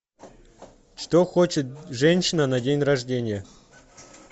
что хочет женщина на день рождения